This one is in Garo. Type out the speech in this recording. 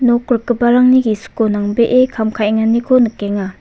nok rikgiparangni gisiko nangbee kam ka·enganiko nikenga.